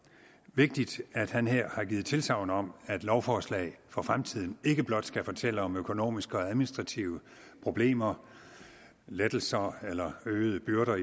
vigtigt at han her har givet tilsagn om at lovforslag for fremtiden ikke blot skal fortælle om økonomiske og administrative problemer lettelser eller øgede byrder